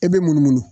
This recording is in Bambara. E bɛ munumunu